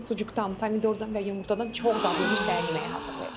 Bu gün sucukdan, pomidordan və yumurtadan çox dadlı bir səhər yeməyi hazırlayacam.